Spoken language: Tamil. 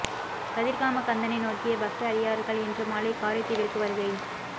கதிர்காம கந்தனை நோக்கிய பக்த அடியார்கள் இன்று மாலை காரைதீவிற்கு வருகை